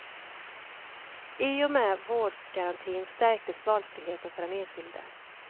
I och med vårdgarantin stärktes valfriheten för den enskilde.